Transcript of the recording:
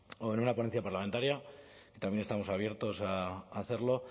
o en una ponencia parlamentaria también estamos abiertos a hacerlo